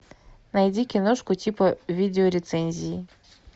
найди киношку типа видеорецензии